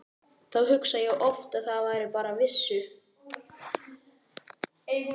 Þá hugsa ég oft að ef þær bara vissu.